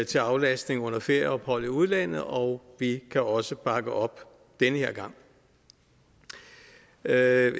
til aflastning under ferieophold i udlandet og vi kan også bakke op den her gang jeg er